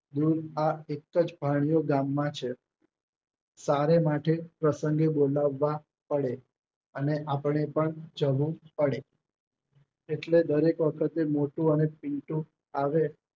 આ એક જ ભાણિયો ગામમાં છે સારે માટે પ્રસંગે બોલવા પડે અને આપણે પણ જવુ પડે એટલે દરેક વખતે મોટું અને પિન્ટુ આવે